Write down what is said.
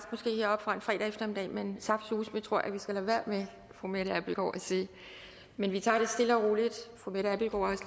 heroppe fredag eftermiddag men saftsuseme tror jeg at vi skal lade være med at fru mette abildgaard men vi tager det stille og roligt fru mette abildgaard